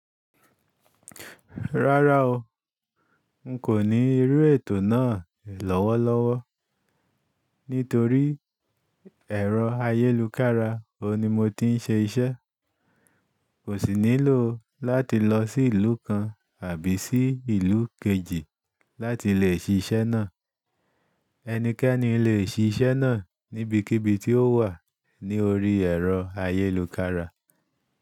Rárá o, n kò ní rí ètò náà lọ́wọ́lọ́wọ́, nítorí ẹ̀rọ ayélukára o ni mo ti ń ṣe iṣẹ́. Kò sì nílò láti lọ sí ìlú kan àbí sí ìlú kejì láti lè ṣí iṣẹ́ náà. Ẹnikẹ́ni lè ṣí iṣẹ́ náà níbikíbi tí ó wà ní orí ẹ̀rọ ayélukára.